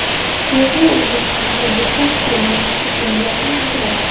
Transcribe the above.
Chexiya O‘zbekistonga bitta hukumat stipendiyasini ajratdi.